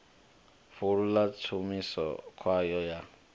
fulo ḽa tshumiso kwayo ya